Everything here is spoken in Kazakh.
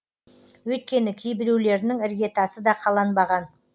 өйткені кейбіреулерінің іргетасы да қаланбаған